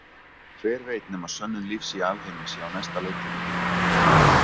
Hver veit nema sönnun lífs í alheimi sé á næsta leiti.